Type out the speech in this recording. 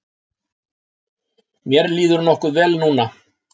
Mér líður nokkuð vel núna.